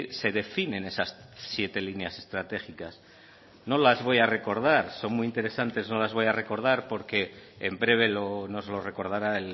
se definen esas siete líneas estratégicas no las voy a recordar son muy interesantes no las voy a recordar porque en breve nos lo recordará